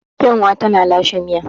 Kyanwa tana lashe miya.